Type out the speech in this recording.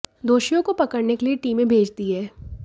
दोषियों को पकड़ने के लिए टीमें भेज दी हैं